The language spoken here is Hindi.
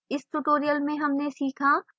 इस tutorial में हमने सीखा: